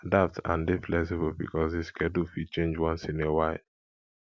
adapt and dey flexible because the schedule fit change once in a while